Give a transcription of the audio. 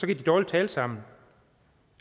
de dårlig tale sammen